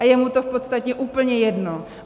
A je mu to v podstatě úplně jedno.